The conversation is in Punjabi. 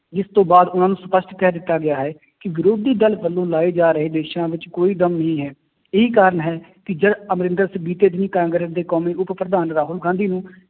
ਜਿਸ ਤੋਂ ਬਾਅਦ ਉਹਨਾਂ ਨੂੰ ਸਪਸ਼ਟ ਕਹਿ ਦਿੱਤਾ ਗਿਆ ਹੈ ਕਿ ਵਿਰੋਧੀ ਦਲ ਵੱਲੋਂ ਲਾਏ ਜਾ ਰਹੇ ਦੋਸ਼ਾਂ ਵਿੱਚ ਕੋਈ ਦਮ ਨਹੀਂ ਹੈ, ਇਹੀ ਕਾਰਨ ਹੈ ਕਿ ਜਦ ਅਮਰਿੰਦਰ ਸਿੰਘ ਬੀਤੇ ਦਿਨ ਹੀ ਕਾਂਗਰਸ ਦੇ ਕੌਮੀ ਉਪ ਪ੍ਰਧਾਨ ਰਾਹੁਲ ਗਾਂਧੀ ਨੂੰ